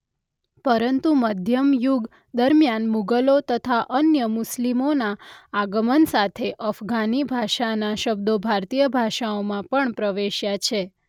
પરંતુ મધ્યયુગ દરમ્યાન મુગલો તથા અન્ય મુસ્લિમોના આગમન સાથે અફઘાની ભાષાના શબ્દો ભારતીય ભાષાઓમાં પણ પ્રવેશ્યા છે.